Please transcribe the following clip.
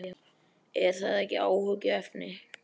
Er það ekki áhyggjuefni?